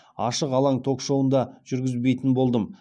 ашық алаң ток шоуын да жүргізбейтін болдым